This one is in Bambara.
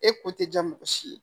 E ko tɛ ja mɔgɔ si ye